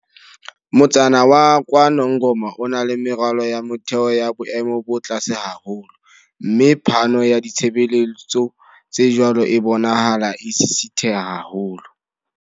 Motsana wa KwaNongoma o na le meralo ya motheo ya boemo bo tlase haholo, mme phano ya ditshebeletso tse jwalo e bonahala e sisitheha haholo.